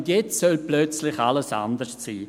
Und jetzt soll plötzlich alles anders sein!